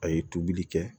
A ye tobili kɛ